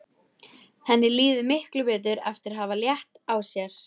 Henni líður miklu betur eftir að hafa létt á sér.